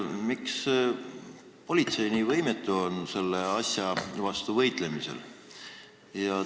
Miks on politsei nii võimetu selle asja vastu võitlemisel?